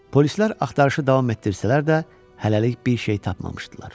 Polislər axtarışı davam etdirsələr də, hələlik bir şeyi tapmamışdılar.